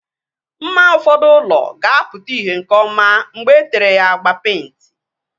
Mma ụfọdụ ụlọ ga-apụta ìhè nke ọma mgbe etere ya agba peịnti